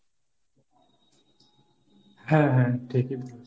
হ্যাঁ হ্যাঁ ঠিকই বলেছ।